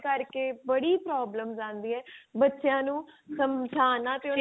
ਕਰਕੇ ਬੜੀ problems ਆਉਂਦੀ ਏ ਬੱਚਿਆਂ ਨੂੰ ਸਮਝਾਣਾ ਤੇ ਉਹਨਾਂ ਦੇ